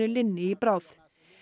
linni í bráð